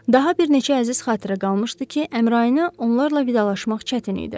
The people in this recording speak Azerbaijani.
Daha bir neçə əziz xatirə qalmışdı ki, Əmrayın onlarla vidalaşmaq çətin idi.